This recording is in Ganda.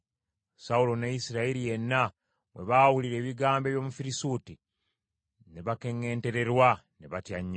Sawulo ne Isirayiri yenna bwe baawulira ebigambo eby’Omufirisuuti, ne bakeŋŋentererwa ne batya nnyo.